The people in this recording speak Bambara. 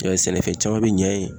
I b'a ye sɛnɛfɛn caman be ɲɛ yen.